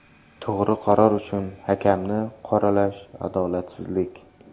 To‘g‘ri qaror uchun hakamni qoralash adolatsizlik”.